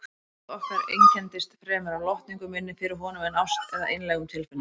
Samband okkar einkenndist fremur af lotningu minni fyrir honum en ást eða einlægum tilfinningum.